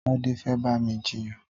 Tade fè bà mi jiyàn